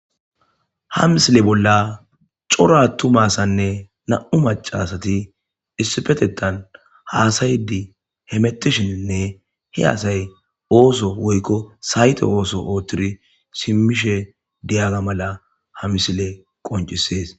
ha misile bolla coro attuma asanne na7u maca asati issifetettan haasayidi hemettishininne hi asay ooso woykko sayte ooso oottiri simmishe diyaga mala ha misile qoncisees